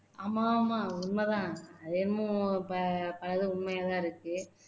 ஆமா ஆமா உண்மைதான் அது என்னமோ அதெல்லாம் உண்மையாதான் இருக்கு